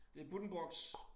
Det Buddenbrooks